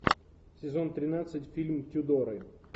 сезон тринадцать фильм тюдоры